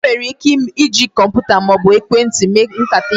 E nwere ike iji kọmputa maọbu ekwentị mee nkata vidiyo